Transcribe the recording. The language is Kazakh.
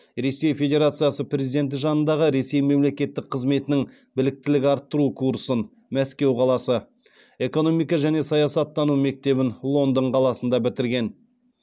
ресей федерациясы президенті жанындағы ресей мемлекеттік қызметінің біліктілік арттыру курсын экономика және саясаттану мектебін лондон қаласында бітірген